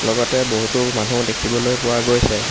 লগতে বহুতো মানু্হ দেখিবলৈ পোৱা গৈছে।